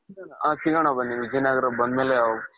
ಹ ಸಿಗಣ ಬನ್ನಿ ವಿಜಯ್ ನಗರ ಬಂದಮೇಲೆ,